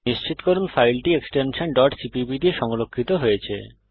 নিশ্চিত করুন যে ফাইলটি এক্সটেনশন cpp দিয়ে সংরক্ষিত হয়েছে